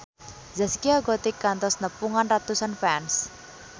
Zaskia Gotik kantos nepungan ratusan fans